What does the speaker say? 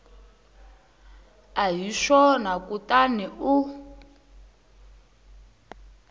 a hi swona kutani u